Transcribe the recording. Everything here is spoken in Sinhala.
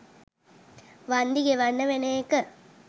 වන්දි ගෙවන්න වෙන එක.